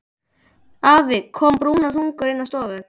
Afi kom brúnaþungur innan úr stofu.